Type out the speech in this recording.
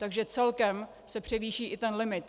Takže celkem se převýší i ten limit.